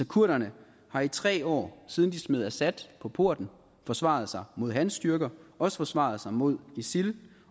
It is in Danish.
kurderne har i tre år siden de smed assad på porten forsvaret sig mod hans styrker og også forsvaret sig mod isil